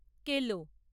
কেলো